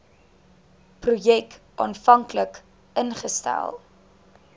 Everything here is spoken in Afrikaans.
projek aanvanklik ingestel